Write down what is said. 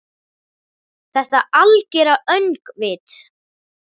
Þetta algera öngvit?